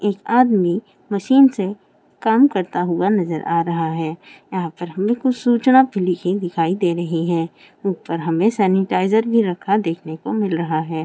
एक आदमी मशीन से काम करता हुआ नजर आ रहा है यहाँ पर हमें कुछ सूचना लिखी हुई भी दिखाई दे रही है ऊपर हमें सेनेटिज़ेर रखा देखने को मिल रहा है।